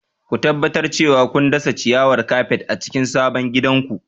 Ku tabbatar cewa kun dasa ciyawar kafet a cikin sabon gidanku.